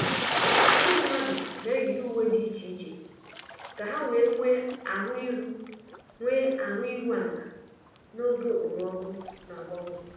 Ndị mmadụ na-eyiri uwe dị iche iche ka ha wee nwee ahụ iru nwee ahụ iru ala n'oge okpomọkụ na-agbanwe.